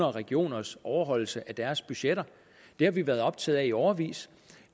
og regioners overholdelse af deres budgetter det har vi været optaget af i årevis